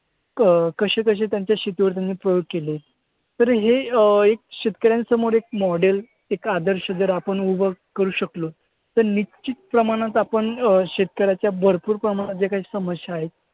अं कसे कसे त्यांच्या शेतीवर त्यांनी प्रयोग केले. तर हे अं एक शेतकऱ्यांसमोर एक model एक आदर्श जर आपण उभं करू शकलो तर निश्चितप्रमाणात आपण अं शेतकऱ्यांच्या भरपूर प्रमाणात ज्या काही समस्या आहेत